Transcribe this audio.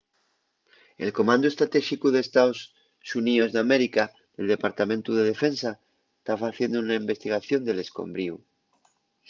el comandu estratéxicu d’estaos xuníos d'américa del departamentu de defensa ta faciendo una investigación del escombriu